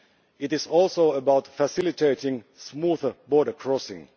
It is also about facilitating smoother border crossing.